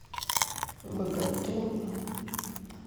боготола